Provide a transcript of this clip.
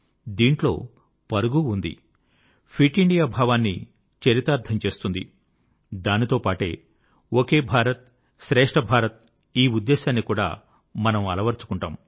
దీంట్లో పరుగూ ఉంది ఫిట్ ఇండియా భావాన్ని చరితార్థం చేస్తుంది దాంతో పాటే ఒకే భారత్ శ్రేష్ఠ భారత్ ఈ ఉద్దేశాన్ని కూడా మనం అలవరచుకుంటాము